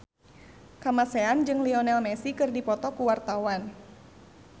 Kamasean jeung Lionel Messi keur dipoto ku wartawan